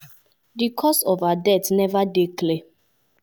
di cause of her death neva dey clear.